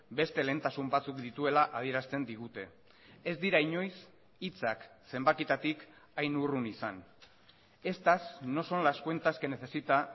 beste lehentasun batzuk dituela adierazten digute ez dira inoiz hitzak zenbakietatik hain urrun izan estas no son las cuentas que necesita